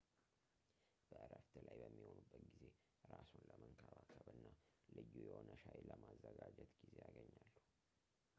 በእረፍት ላይ በሚሆኑበት ጊዜ እራስዎን ለመንከባከብ እና ልዩ የሆነ ሻይ ለማዘጋጀት ጊዜ ያገኛሉ